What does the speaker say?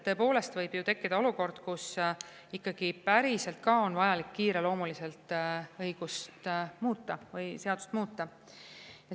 Tõepoolest võib ju tekkida olukord, kus päriselt ka on vaja kiireloomuliselt seadust muuta.